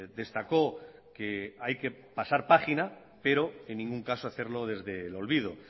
destacó que hay que pasar página pero en ningún caso hacerlo desde el olvido